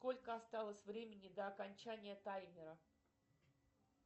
сколько осталось времени до окончания таймера